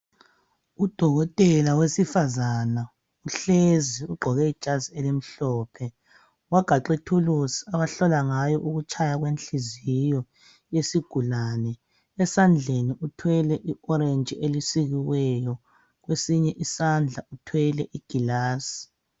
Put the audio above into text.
Udokotela wesifazana uhlezi ugqoke ijazi ellimhlophe wagaxa ithulusi ahlola ngayo ukutshaya kwenhliziyo yesigulane. Esandleni uthwele i"orange"elisikiweyo, kwesinye isandla uthwele igilasi.